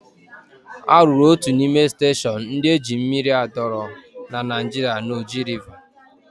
A rụrụ otu n'ime steshọn ndị eji mmiri adọrọ na Naịjirịa na Oji Rịva.